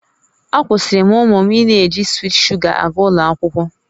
Akwụsịrị m ụmụ m ịna-eji swiit sugar aga ụlọ akwụkwọ